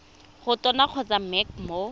go tona kgotsa mec mo